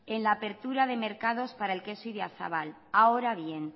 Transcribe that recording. en la apertura de mercados para el queso idiazabal ahora bien